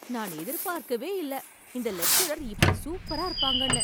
நான் எதிர்பார்க்கவே இல்ல இந்த லெக்சரர் இப்படி சூப்பரா இருப்பாங்கன்னு